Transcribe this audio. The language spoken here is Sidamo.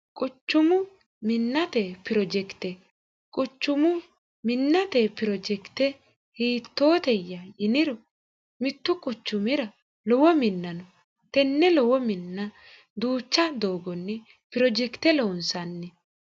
quchumu minnate pirojekite quchumu minnate pirojekite hiittooteyya yiniro mittu quchumira lowo minnano tenne lowo minna duucha doogonni pirojekite loonsanni